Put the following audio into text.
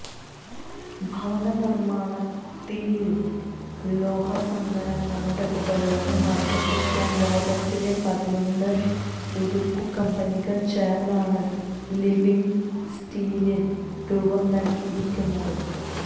ഭവന നിര്മ്മിതിയില് ലോഹസങ്കരങ്ങളുടെ ഉപയോഗം വര്ദ്ധിപ്പിക്കാന് ലോകത്തിലെ പതിനൊന്ന് ഉരുക്കു കമ്പനികള് ചേര്ന്നാണ് ലിവിംഗ് സ്റ്റീലിന് രൂപം നല്കിയിരിക്കുന്നത്